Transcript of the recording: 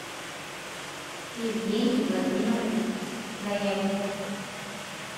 евгений владимирович заякин